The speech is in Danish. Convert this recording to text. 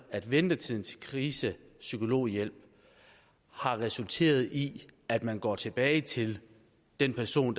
at ventetiden til krisepsykologhjælp har resulteret i at man går tilbage til den person